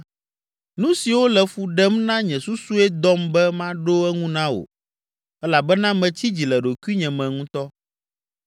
“Nu siwo le fu ɖem na nye susue dɔm be maɖo eŋu na wò elabena metsi dzi le ɖokuinye me ŋutɔ.